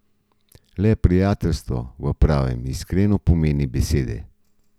Le prijateljstvo v pravem, iskrenem pomenu besede.